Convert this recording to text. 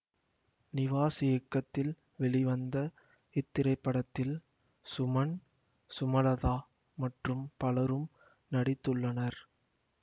நிவாஸ் இயக்கத்தில் வெளிவந்த இத்திரைப்படத்தில் சுமன் சுமலதா மற்றும் பலரும் நடித்துள்ளனர்